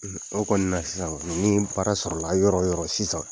O kɔni na sisan ni baara sɔrɔ la yɔrɔ yɔrɔ sisan,